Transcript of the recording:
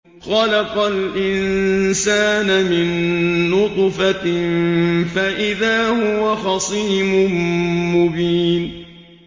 خَلَقَ الْإِنسَانَ مِن نُّطْفَةٍ فَإِذَا هُوَ خَصِيمٌ مُّبِينٌ